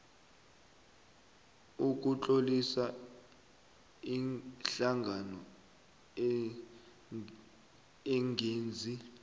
sokutlolisa ihlangano engenzi